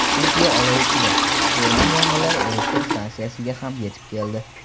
Turkiya olov ichida: o‘rmon yong‘inlari elektr stansiyasiga ham yetib keldi.